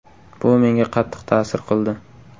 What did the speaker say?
Bu menga qattiq ta’sir qildi.